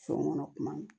So kɔnɔ kuma